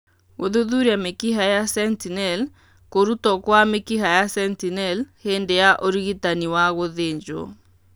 Gũthuthuria mĩkiha ya sentinel:kũrutwo kwa mĩkiha ya sentinel hĩndĩ ya ũrigitani wa gũthĩnjwo.